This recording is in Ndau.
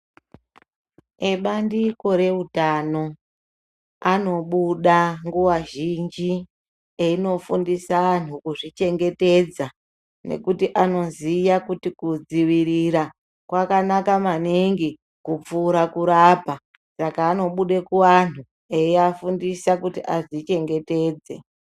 Ebandiko reutano anobuda nguwa zhinji, einofundisa antu kuzvichengetedza, nekuti anoziya kuti kudzivirira kwakanaka maningi, kupfuura kurapa. Saka anobude kuantu, eiafundisa kuti azvichengetedze.